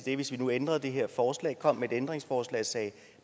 det hvis vi nu ændrede det her forslag kom med et ændringsforslag og sagde at